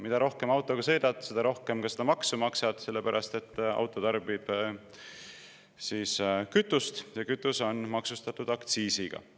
Mida rohkem autoga sõidad, seda rohkem seda maksu maksad, sellepärast et auto tarbib kütust ja kütus on maksustatud aktsiisiga.